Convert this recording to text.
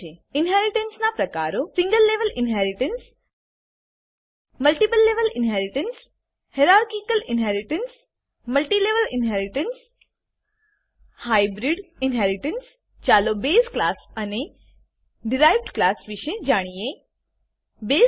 ઇનહેરીટન્સનાં પ્રકારો single level inheritance single level inheritance multiple level inheritance multiple level inheritance hierarchical inheritance hierarchical inheritance multilevel inheritance multilevel inheritance hybrid inheritance hybrid inheritance ચાલો બસે base class અને derived derived class વિશે જાણીએ